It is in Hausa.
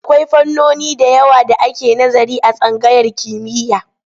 Akwai fannoni da yawa da ake nazari a tsangayar kimiyya.